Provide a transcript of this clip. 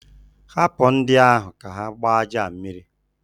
Hapụ ndị ahụ ka ha gbaa aja a mmiri!